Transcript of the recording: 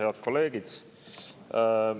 Head kolleegid!